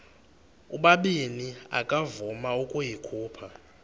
ubabini akavuma ukuyikhupha